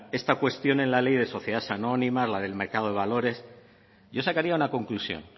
esta cuestión en la ley de sociedades anónimas la del mercado de valores yo sacaría una conclusión